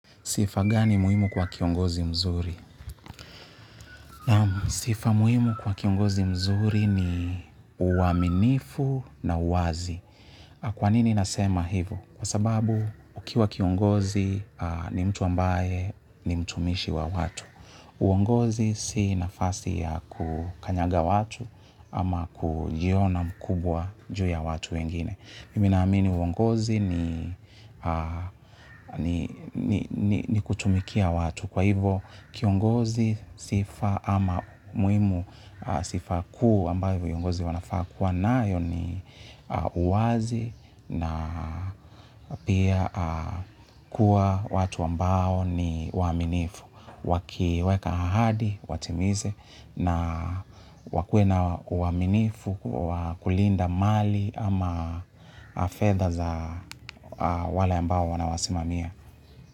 Sifa gani muhimu kwa kiongozi mzuri? Naam. Sifa muhimu kwa kiongozi mzuri ni uaminifu na uwazi. Kwa nini nasema hivo? Kwa sababu, ukiwa kiongozi ni mtu ambaye ni mtumishi wa watu. Uongozi si nafasi ya kukanyaga watu ama kujiona mkubwa juu ya watu wengine. Mimi naamini uongozi ni kutumikia watu. Kwa hivo kiongozi sifa ama muhimu sifa kuu ambayo viongozi wanafaa kuwa nayo ni uwazi na pia kuwa watu ambao ni waaminifu. Wakiweka ahadi, watimize na wakue na uaminifu, wa kulinda mali ama fedha za wale ambao wanawasimamia.